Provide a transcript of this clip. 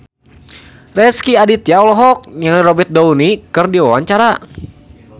Rezky Aditya olohok ningali Robert Downey keur diwawancara